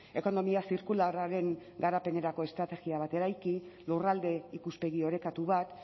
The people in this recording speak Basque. ekonomia zirkularraren garapenerako estrategia bat eraiki lurralde ikuspegi orekatu bat